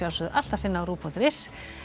alltaf finna á rúv punktur is